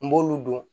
N b'olu don